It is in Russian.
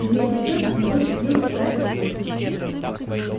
и вместе с тем от него исходила какая-то сила